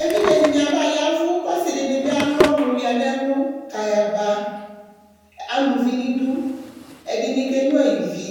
Evidze dini aba yavʋ Kʋ asi dini bi alu ɔnʋyǝ nʋ ɛlʋ kʋ ayaba Ama uvi nʋ idu, ɛdɩni kenyʋa ivi,